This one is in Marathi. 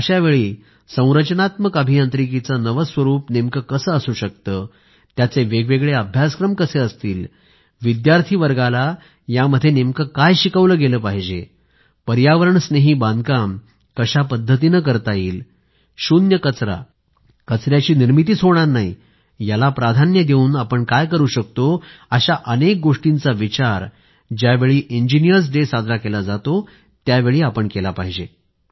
अशावेळी संरचनात्मक अभियांत्रिकीचे नवे स्वरूप नेमके कसे असू शकते त्याचे वेगवेगळे अभ्यासक्रम कसे असतील विद्यार्थी वर्गाला यामध्ये नेमकं काय शिकवलं गेलं पाहिजे पर्यावरणस्नेही बांधकाम कशा पद्धतीने करता येईल शून्य कचरा कचऱ्याची निर्मितीच होणार नाही याला प्राधान्य देऊन आपण काय करू शकतो अशा अनेक गोष्टींचा विचार ज्यावेळी इंजिनीअर्स डे साजरा केला जातोत्यावेळी केला पाहिजे